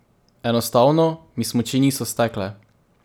Enostavno mi smuči niso stekle.